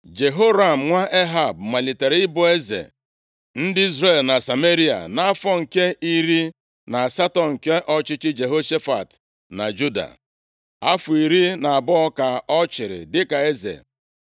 Jehoram nwa Ehab, malitere ịbụ eze ndị Izrel na Sameria nʼafọ nke iri na asatọ nke ọchịchị Jehoshafat na Juda. Afọ iri na abụọ ka ọ chịrị dịka eze.